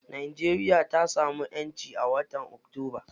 Najeriya ta samu ƴanci a watan octoba.